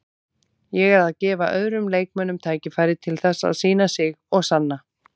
Ég er að gefa öðrum leikmönnum tækifæri til þess að sýna sig og sanna.